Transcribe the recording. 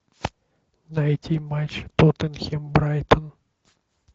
найти матч тоттенхэм брайтон